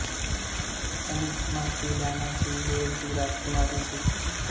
ਪ੍ਰਮੁੱਖ ਹਮਾਇਤੀ ਡਾਇਨਾ ਸੀ ਵੇਲਜ਼ ਦੀ ਰਾਜਕੁਮਾਰੀ ਸੀ